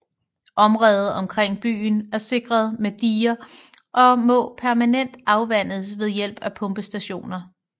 Området omkring byen er sikret med diger og må permanent afvandes ved hjælp af pumpestationer